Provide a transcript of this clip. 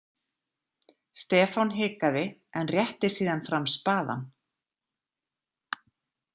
Stefán hikaði en rétti síðan fram spaðann.